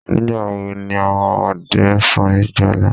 Nígbàwo ni àwọn ọdẹ n sun ìjálá?